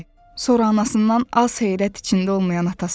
Sonra anasından az heyrət içində olmayan atasına döndü.